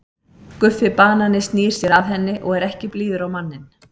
Guffi banani snýr sér að henni og er ekki blíður á manninn.